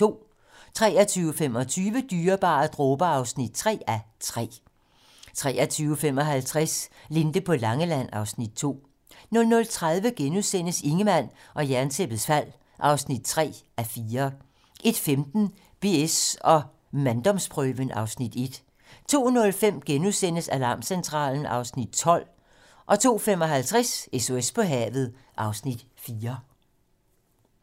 23:25: Dyrebare dråber (3:3) 23:55: Linde på Langeland (Afs. 2) 00:30: Ingemann og Jerntæppets fald (3:4)* 01:15: BS & manddomsprøven (Afs. 1) 02:05: Alarmcentralen (Afs. 12)* 02:55: SOS på havet (Afs. 4)